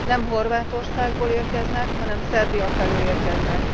Nem Horvátországból érkeznek, hanem Szerbia felől érkeznek.